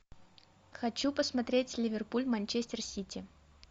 хочу посмотреть ливерпуль манчестер сити